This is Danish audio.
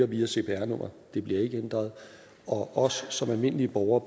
via cpr nummeret og det bliver ikke ændret og almindelige borgere